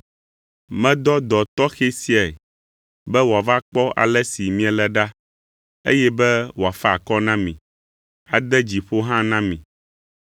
Medɔ dɔ tɔxɛ siae be wòava kpɔ ale si miele ɖa, eye be wòafa akɔ na mi, ade dzi ƒo hã na mi.